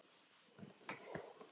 Kom hún enn einu sinni upp í hugann!